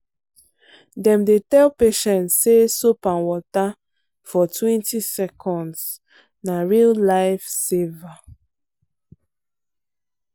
dem dey tell patients say soap and water fortwentyseconds na real life saver.